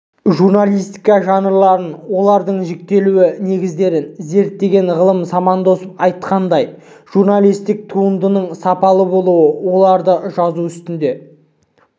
журналистика жанрларын олардың жіктелу негіздерін зерттеген ғалым самандосов айтқандай журналистік туындының сапалы болуы оларды жазу үстінде